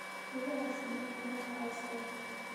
Idaha sida meelaha cawska leh.